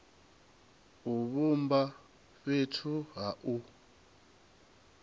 u vhumba fhethu ha u